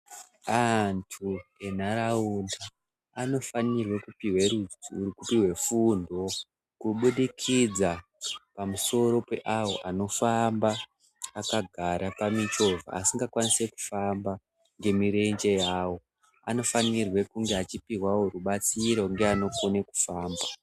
Antu entaraunda anofanirwe kupiwe fundo kubudikidza pamusoro peavo anofamba akagara pamichovha asikakwanise kufamba ngemirenje yavo vanofanirwe kunge vachipiwe rubatsiro ngeanogone kufamba .